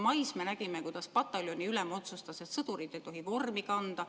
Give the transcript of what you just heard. Mais me nägime, kuidas pataljoniülem otsustas, et sõdurid ei tohi vormi kanda.